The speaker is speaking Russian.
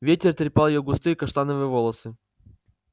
ветер трепал её густые каштановые волосы